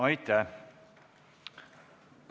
Aitäh!